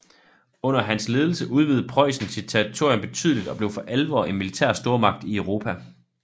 Under hans ledelse udvidede Preussen sit territorium betydeligt og blev for alvor en militær stormagt i Europa